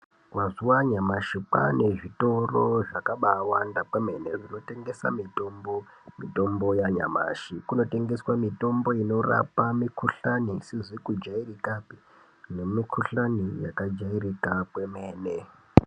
Mazuva anyamashi kwaane zvitoro zvakabaiwanda kwemene zvekutengesa mitombo mitombo yanyamashi kunotengeswe inorapa mikhuhlani isizi kujairikapi nemikhuhlani yakajairika kwemene.